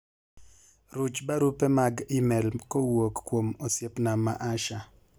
ruch barupe mag email kowuok kuom osiepna ma Asha